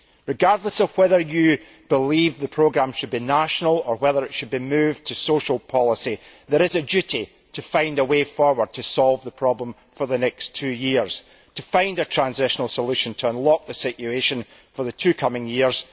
Regardless of whether you believe the programme should be national or whether it should be moved to social policy, there is a duty to find a way forward to solve the problem for the next two years and to find a transitional solution to unlock the situation for the coming two years.